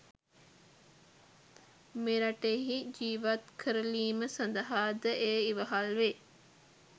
මෙරටෙහි ජීවත් කරලීම සඳහා ද එය ඉවහල් වේ